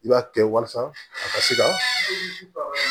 I b'a kɛ walasa a ka se ka